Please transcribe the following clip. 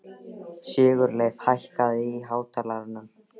Sigurleif, hækkaðu í hátalaranum.